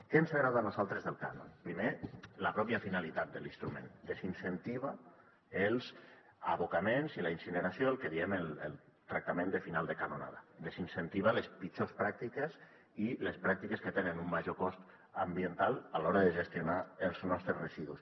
què ens agrada a nosaltres del cànon primer la pròpia finalitat de l’instrument desincentiva els abocaments i la incineració el que en diem el tractament de final de canonada desincentiva les pitjors pràctiques i les pràctiques que tenen un major cost ambiental a l’hora de gestionar els nostres residus